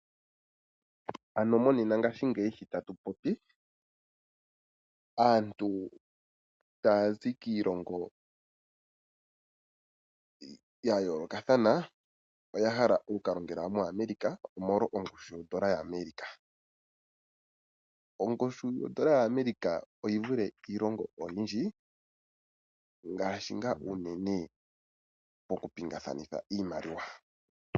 Monena ngaashingeyi sho tatu popi aantu taya zi kiilongo ya yoolokathana oya hala oku ka longela moAmerica, omolwa ongushu yodola yaAmerica. Ongushu yodola yaAmerica oyi vule iilongo oyindji ngaashi ngaa unene mokupingakanitha iimaliwa.